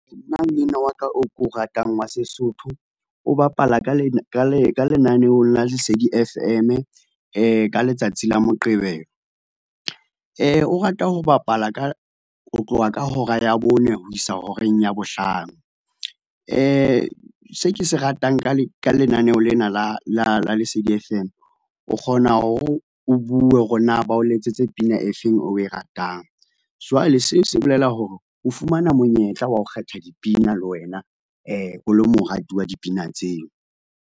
Nna mmino wa ka oo ko o ratang wa Sesotho o bapala ka lenaneong la Lesedi F_M ka letsatsi la Moqebelo, orata ho bapala ho tloha ka hora ya bone ho isa horeng ya bohlano. Se ke se ratang ka lenaneo lena la Lesedi F_M o kgona hore o bue hore na ba o letsetse pina e feng e oe ratang. Jwale seo se bolela hore o fumana monyetla wa ho kgetha dipina le wena o lo morati wa dipina tseo.